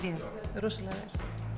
rosalega vel